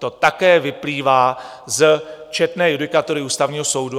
To také vyplývá z četné judikatury Ústavního soudu.